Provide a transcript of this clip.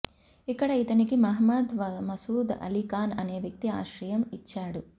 ఇక్కడ ఇతనికి మహమ్మద్ మసూద్ అలీఖాన్ అనే వ్యక్తి ఆశ్రయం ఇచ్చాడు